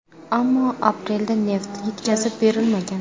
Ammo aprelda neft yetkazib berilmagan.